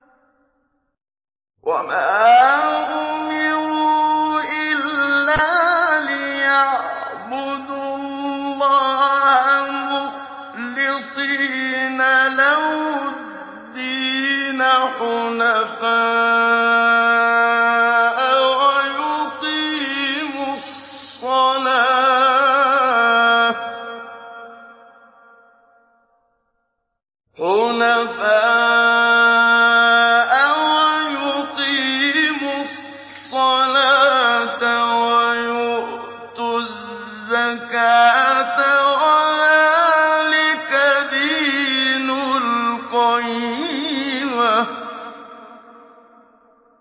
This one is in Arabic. وَمَا أُمِرُوا إِلَّا لِيَعْبُدُوا اللَّهَ مُخْلِصِينَ لَهُ الدِّينَ حُنَفَاءَ وَيُقِيمُوا الصَّلَاةَ وَيُؤْتُوا الزَّكَاةَ ۚ وَذَٰلِكَ دِينُ الْقَيِّمَةِ